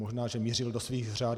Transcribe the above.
Možná že mířil do svých řad.